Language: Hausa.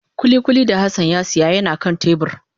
Kulikuli da Hassan ya siya yana kan tebur